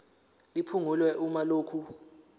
liphungulwe uma lokhu